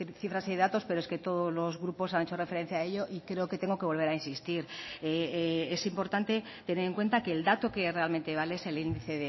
cifras y datos pero es que todos los grupos han hecho referencia a ello y creo que tengo que volver a insistir es importante tener en cuenta que el dato que realmente vale es el índice